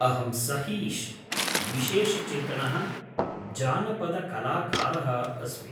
अहं सहीश्, विशेषचेतनः जानपदकलाकारः अस्मि।